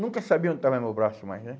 Nunca sabia onde estava meu braço mais, né?